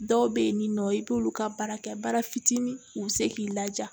Dɔw bɛ yen nin nɔ i b'olu ka baara kɛ baara fitinin u bɛ se k'i laja